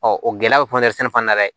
o gɛlɛya bɛ sɛnɛ fana na dɛ